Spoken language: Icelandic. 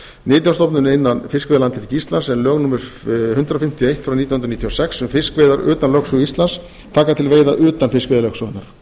nytjastofnum innan fiskveiðilandhelgi íslands en lög númer hundrað fimmtíu og eitt nítján hundruð níutíu og sex um fiskveiðar utan lögsögu íslands taka til veiða íslenskra skipa utan fiskveiðilögsögunnar